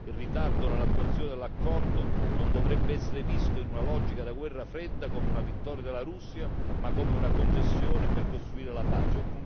Il ritardo nell'attuazione dell'accordo non dovrebbe essere visto in una logica da guerra fredda come una vittoria della Russia, ma come una concessione per costruire la pace.